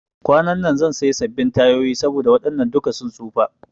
Kwanan zan siya sabin tayoyi saboda waɗannan duka sun tsufa